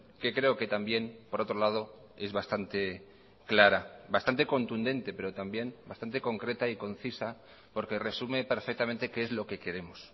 que creo que también por otro lado es bastante clara bastante contundente pero también bastante concreta y concisa porque resume perfectamente qué es lo que queremos